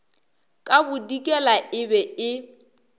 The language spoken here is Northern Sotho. ka bodikela e be e